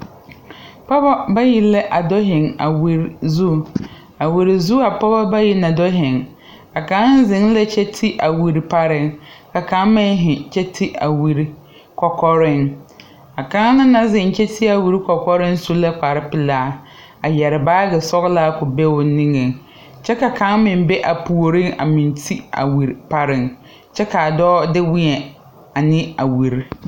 Pogɔ bayi la a do heŋ a wire zu a wire zu a poobɔ bay na do heŋ a kaŋ heŋ la kyɛ te a wire pareŋ ka kaŋ meŋ heŋ kyɛ te a wire kɔkɔreŋ a kaŋ naŋ heŋ kyɛ te a wire kɔkɔreŋ su la kparepilaa a yɛre baagi sɔglaa ko be o neŋeŋ kyɛ ka kaŋ meŋ be a puoriŋ a meŋ te a wire pareŋ kyɛ kaa dɔɔ de weɛ ane a wire.